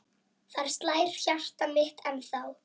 Þar slær hjartað mitt ennþá.